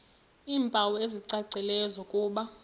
iimpawu ezicacileyo zokuba